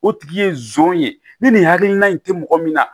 O tigi ye nson ye ni nin hakilina in tɛ mɔgɔ min na